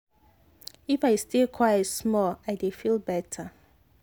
if i stay quite small i dey feel better.